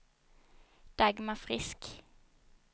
Dagmar Frisk